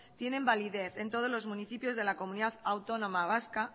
tienen validez en todos los municipios de la comunidad autónoma vasca